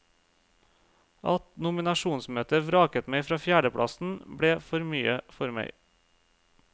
At nominasjonsmøtet vraket meg fra fjerdeplassen, ble for mye for meg.